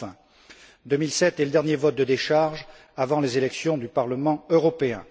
Enfin, 2007 est le dernier vote de décharge avant les élections du Parlement européen.